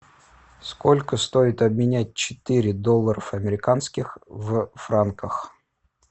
сколько стоит обменять четыре долларов американских в франках